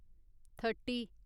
thirty